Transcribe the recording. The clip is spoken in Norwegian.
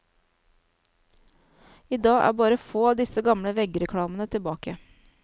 I dag er bare få av disse gamle veggreklamene tilbake.